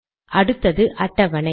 அடுத்தது அட்டவணை